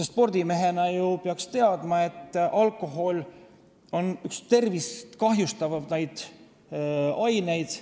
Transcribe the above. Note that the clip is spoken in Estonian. Spordimehena ta ju peaks teadma, et alkohol on üks kõige rohkem tervist kahjustavaid aineid.